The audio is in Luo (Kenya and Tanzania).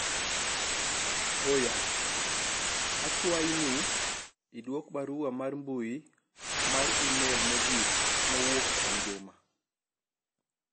Oya akwayi ni idwok barua mar mbui mar email mogik mowuok kuom Juma